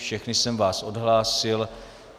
Všechny jsem vás odhlásil.